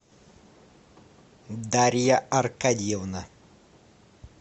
дарья аркадьевна